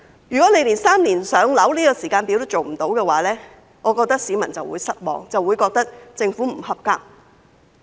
如果連"三年上樓"的時間表也做不到，我認為市民會很失望，亦會覺得政府不合格。